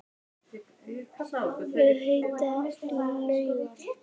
Við heitar laugar